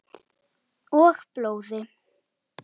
Og blóði.